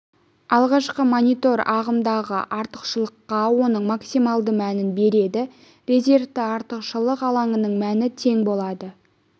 алғашқыда монитор ағымдағы артықшылыққа оның максималды мәнін береді резервті артықшылық алаңының мәні тең болады